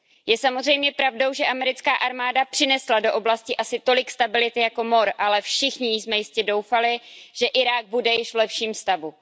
Je samozřejmě pravdou, že americká armáda přinesla do oblasti asi tolik stability jako mor, ale všichni jsme jistě doufali, že Irák bude již v lepším stavu.